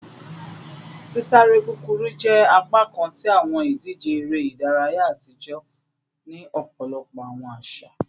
Sisare kukuru jẹ apakan ti awọn idije ere idaraya atijọ ni ọpọlọpọ awọn aṣa